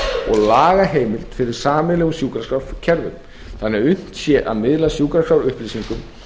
og lagaheimild fyrir sameiginlegum sjúkraskrárkerfum þannig að unnt sé að miðla sjúkraskrárupplýsingum